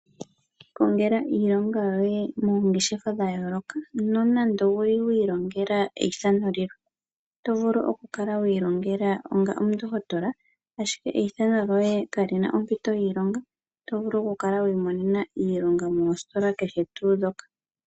Ilongela iilonga yoye moongeshefa dhayooloka nonando owuli wi ilongela eyithano lilwe oto vulu ku kala wi ilongela onga omundohotola ashike eyithano lyoye kalina ompito yiilonga, oto vulu ku kala wi imonena iilonga mositola kehe tuu dhoka.